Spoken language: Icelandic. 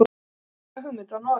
Næsta hugmynd var Noregur.